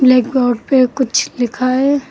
Blackboard पे कुछ लिखा है।